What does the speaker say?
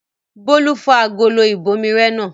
Bólú fọ́ agolo ìbomirẹ náà.